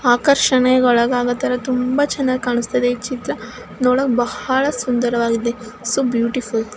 ಆಕರ್ಷಣೆ ಒಳಗಾಗೊತರ ತುಂಬಾ ಚನ್ನಾಗಿ ಕಾಣಸ್ತಿದೆ ಈ ಚಿತ್ರ ನೋಡಕ್ ಬಹಳ ಸುಂದರವಾಗಿದೆ ಸೋ ಬ್ಯೂಟಿಫುಲ್ .